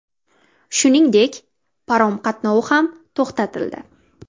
Shuningdek, parom qatnovi ham to‘xtatildi.